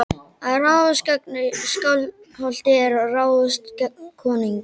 Að ráðast gegn Skálholti er að ráðast gegn konungi.